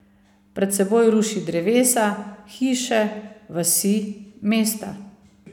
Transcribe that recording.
Pred seboj ruši drevesa, hiše, vasi, mesta.